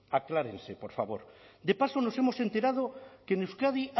aclárense por favor de paso nos hemos enterado de que en euskadi